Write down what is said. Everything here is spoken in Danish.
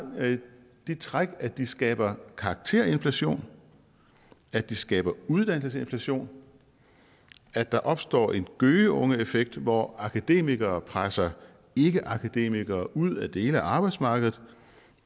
det træk at det skaber karakterinflation at det skaber uddannelsesinflation at der opstår en gøgeungeeffekt hvor akademikere presser ikkeakademikere ud af dele af arbejdsmarkedet